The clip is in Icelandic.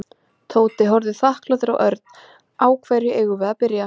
Tóti horfði þakklátur á Örn. Á hverju eigum við að byrja?